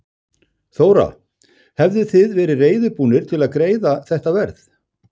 Þóra: Hefðuð þið verið reiðubúnir til að greiða þetta verð?